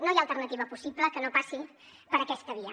no hi ha alternativa possible que no passi per aquesta via